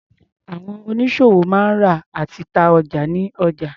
Àwọn oníṣòwò máa ń rà àti ta ọjà ní ọjà.